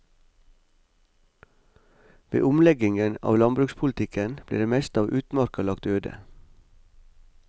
Ved omleggingen av landbrukspolitikken ble det meste av utmarka lagt øde.